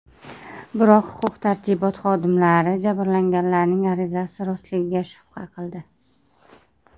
Biroq huquq-tartibot xodimlari jabrlanganlarning arizasi rostligiga shubha qildi.